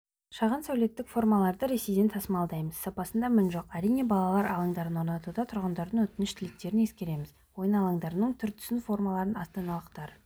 шағын сәулеттік формаларды ресейден тасымалдаймыз сапасында мін жоқ әрине балалар алаңдарын орнатуда тұрғындардың өтініш-тілектерін ескереміз ойын алаңдарының түр-түсін формаларын астаналықтар